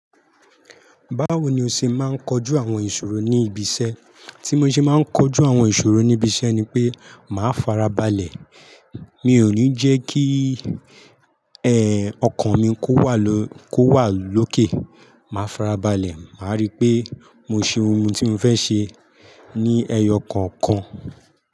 Báwo ni o ṣe máa ń kojú àwọn ìṣòro ní ibi iṣẹ́? Tí mo ṣe máa ń kojú àwọn ìṣòro ní ibi iṣẹ́ ni pé màá farabalẹ̀. Mi ò ní jẹ́ kí, ẹ, ọkàn mi kó wà ló, kó wà lókè. Màá farabalẹ̀, màá rí pé mo ṣe ohun tí mo fẹ́ ṣe ní ẹyọ kọ̀ọ̀kan.